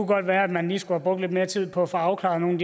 godt være man lige skulle have brugt lidt mere tid på at få afklaret nogle